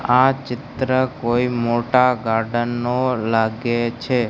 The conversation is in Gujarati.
આ ચિત્ર કોઈ મોટા ગાર્ડન નું લાગે છે.